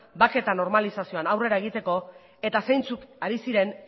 bake eta normalizazioan aurrera egiteko eta zeintzuk ari ziren